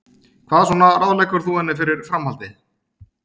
Hvað svona ráðleggur þú henni fyrir framhaldið?